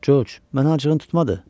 Corc, mənə acığın tutmadı?